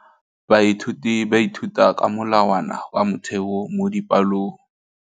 Baithuti ba ithuta ka molawana wa motheo mo dipalong.